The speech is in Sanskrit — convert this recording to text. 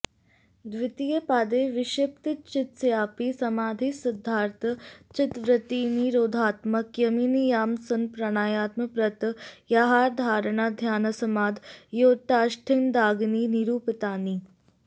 द्वितीये पादे विक्षिप्त चित्तस्यापि समाधिसिद्ध्यर्थं चित्तवृत्तिनिरोधात्मकः यमनियमासनप्राणायामप्रत्याहारधारणाध्यानसमाधयोऽष्टाङ्गानि निरूपितानि